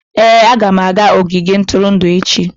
Ee, aga m aga ogige ntụrụndụ echi.